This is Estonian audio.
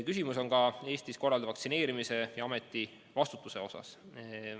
Küsimus on ka Eestis korraldatava vaktsineerimise ja selle eest vastutamise kohta.